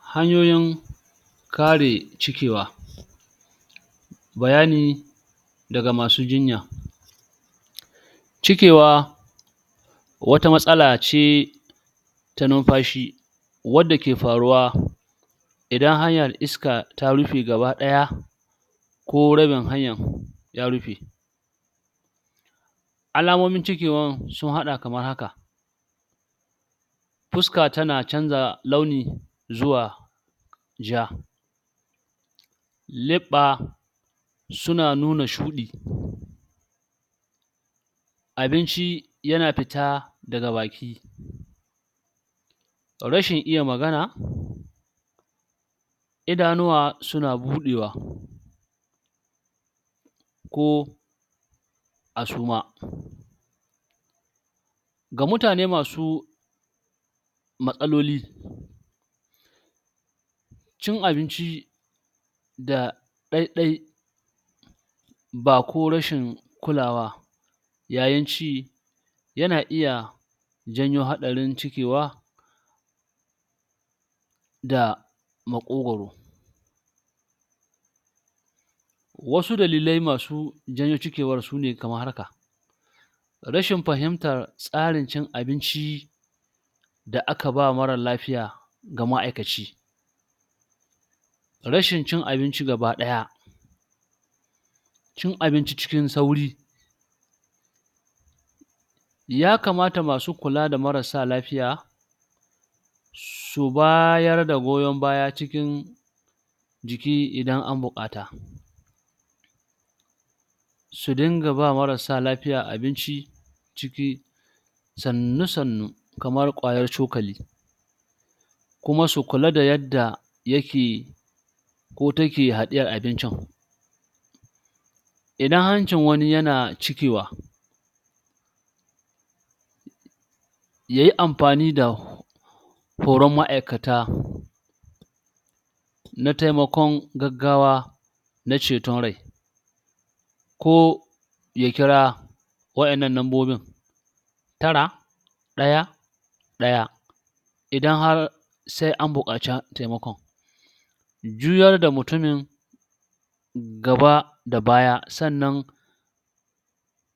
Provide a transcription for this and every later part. hanyoyin kare cikewa bayani daga masu jinya cikewa wata matsala ce ta numfashi wadda ke faruwa idan hanyar iska ta rufe gaba ɗaya ko rabin hanyan ya rufe alamomin cikewan sun haɗa kamar haka fuska tana canza launi zuwa ja leɓɓa suna nuna shuɗi abinci yana fita daga baki rashin iya magana idanuwa suna buɗewa ko a suma ga mutane masu matsaloli cin abinci da ɗaiɗai bako rashin kulawa yayin ci yana iya janyo haɗarin cikewa da maƙogaro wasu dalilai masu janyo cikewar sune kamar haka rashin fahimtar tsarin cin abinci da akaba mara lafiya ga ma'aikaci rashin cin abinci gaba ɗaya cin abinci cikin sauri ya kamata masu kula da marasa lafiya su bayarda goyon baya cikin jiki idan an buƙata su dinga ba marasa lafiya abinci ciki sannu-sannu kamar kwayar cokali kuma su kula da yadda yake ko take haɗiyar abincin idan hancin wani yana cikewa yayi amfani da koran ma'aikata na taimakon gaggawa na ceton rai ko ya kira waƴannan nambobin tara ɗaya ɗaya idan har sai a buƙaci taimakon juyarda mutumin gaba da baya sannan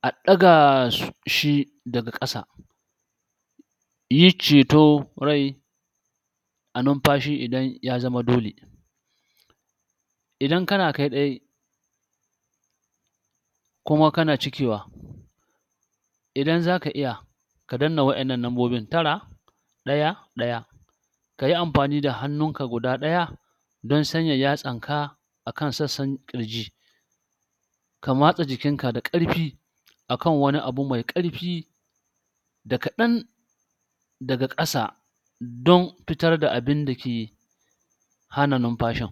a ɗaga shi daga ƙasa yi ceton rai da numfashi idan ya zama dole idan kana kai ɗai kuma kana cikewa idan zaka iya ka danna waƴannan nambobin tara ɗaya ɗaya kayi amfani da hannunka guda ɗaya don sanya yatsanka akan sassan ƙirji ka matsa jikin ka da ƙarfi akan wani abu mai ƙarfi da kaɗan daga ƙasa don fitarda abinda ke hana numfashin